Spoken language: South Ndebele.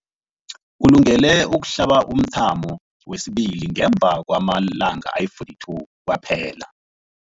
Ulungele ukuhlaba umthamo wesibili ngemva kwama-42 wamalanga kwaphela.